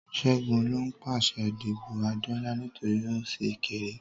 Ṣẹ́gun ló ń pàṣẹ dípò Adeola nítorí ó ṣì kéré.